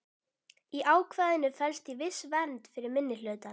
Í ákvæðinu felst því viss vernd fyrir minnihlutann.